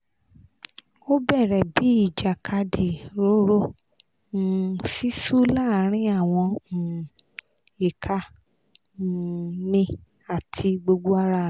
o bẹrẹ bi ijakadi roro um sisu laarin awọn um ika um mi ati gbogbo ara mi